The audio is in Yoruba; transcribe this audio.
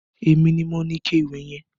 Èmi ni mo ni ikẹ ìwẹ̀ yẹn